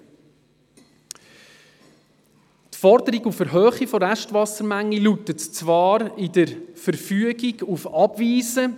Die Forderung auf Erhöhung der Restwassermenge lautet zwar in der Verfügung auf Abweisen.